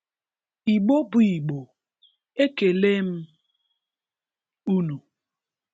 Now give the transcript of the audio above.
Igbo bụ Igbo, ekele m unu!